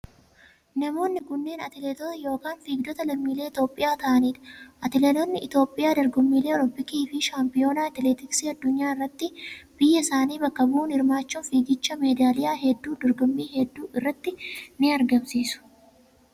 Namoonni kunneen atileetota yokin fiigdota lammiilee Itoophiyaa ta'anidha. Atileetonni Itoophiyaa dorgommiilee olompiikii fi shaampiyoona atileetiksii addunyaa irratti biyya isaanii bakka bu'uun hirmaachuun fiigichaan meedaaliyaa hedduu dorgommii hedduu irratti ni argamsiisu.